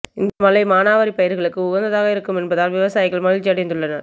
இந்த மழை மானாவாரி பயிர்களுக்கு உகந்ததாக இருக்கும் என்பதால் விவசாயிகள் மகிழ்ச்சியடைந்துள்ளனர்